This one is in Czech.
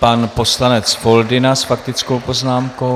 Pan poslanec Foldyna s faktickou poznámkou.